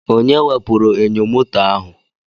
Onye wepụrụ enyo moto ahụ?